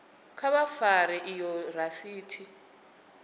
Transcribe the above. kha vha fare iyo rasiti